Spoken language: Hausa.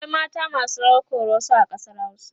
akwai mata masu rawar koroso a ƙasar hausa